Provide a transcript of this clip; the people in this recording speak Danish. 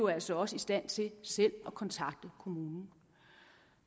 er altså også i stand til selv at kontakte kommunen